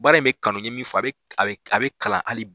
Baara ib bɛ kanu n ye min fɔ a bɛ kalan hali bi.